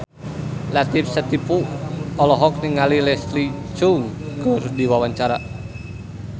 Latief Sitepu olohok ningali Leslie Cheung keur diwawancara